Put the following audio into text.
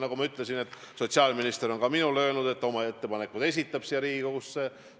Nagu ma ütlesin, sotsiaalminister on ka minule öelnud, et ta esitab Riigikogule oma ettepanekud.